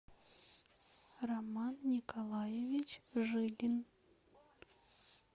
роман николаевич жилин